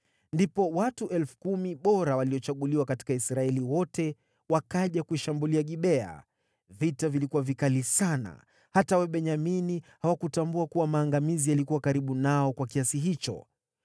Ndipo watu 10,000 bora waliochaguliwa katika Israeli wote, wakaja kuishambulia Gibea. Vita vilikuwa vikali sana, hata Wabenyamini hawakutambua kuwa maangamizi yalikuwa karibu nao kwa kiasi hicho.